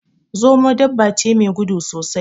Zomo dabba ce me gudu sosai